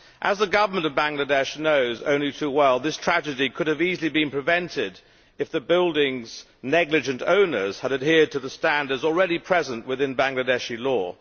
As the Government of Bangladesh knows only too well, this tragedy could easily have been prevented if the building's negligent owners had adhered to the standards already present within Bangladeshi law.